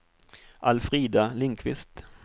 Alfrida Lindquist